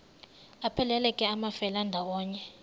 aphelela ke amafelandawonye